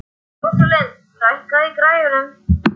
Rósalind, lækkaðu í græjunum.